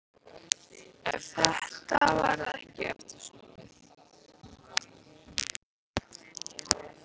Eftir þetta varð ekki aftur snúið.